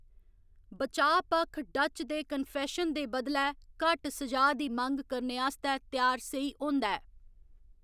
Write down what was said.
बचाऽ पक्ख डच दे कन्फेशन दे बदलै घट्ट स'जा दी मंग करने आस्तै त्यार सेही होंदा ऐ।